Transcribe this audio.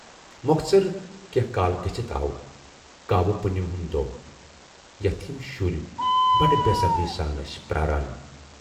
مۅخصر کینہہ کال گٔژھِتھ آو کاوٕ پُنِم ہُند دۅہ، یَتھ یِم شُرۍ بَڈٕ بے صبری سان ٲسۍ پراران۔